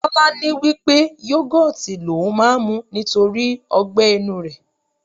Tọ́lání wí pé yogoti l'oun máa ń mu nítorí ọgbẹ inú rẹ̀.